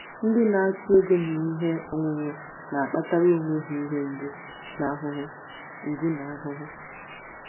Ndị na-achụ ego na ihe onwunwe na-akpatara onwe ha ihe mgbu na ahụhụ mgbu na ahụhụ.